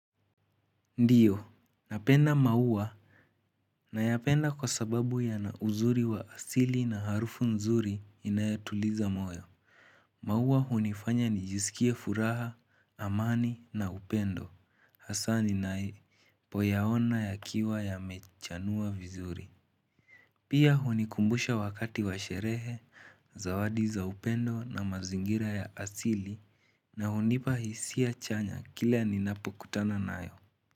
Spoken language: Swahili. Ndiyo, napenda mauwa nayapenda kwa sababu yana uzuri wa asili na harufu nzuri inayotuliza moyo. Mauwa hunifanya nijisikie furaha, amani na upendo, hasa ninapoyaona yakiwa yamechanua vizuri. Pia hunikumbusha wakati wa sherehe, zawadi za upendo na mazingira ya asili na hunipa hisia chanya kila ninapokutana nayo.